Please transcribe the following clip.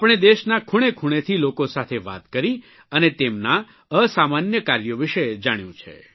આપણે દેશના ખૂણેખૂણેથી લોકો સાથે વાત કરી અને તેમનાં અસામાન્ય કાર્યો વિષે જાણ્યું છે